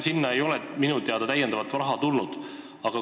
Sinna ei ole minu teada täiendavat raha tulnud.